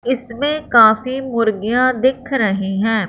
इसमें काफी मुर्गियां दिख रही है।